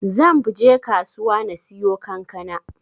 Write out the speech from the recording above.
Zanbje kasuwa na siyo kankana.